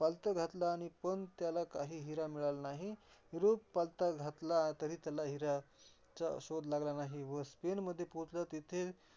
पालथ घातल, आणि पण त्याला काही हिरा मिळाला नाही. युरोप पालथा घातला तरी त्याला हिऱ्याचा शोध लागला नाही. व स्पेनमध्ये पोचला तिथे.